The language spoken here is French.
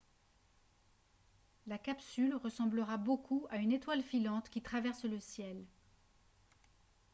la capsule ressemblera beaucoup à une étoile filante qui traverse le ciel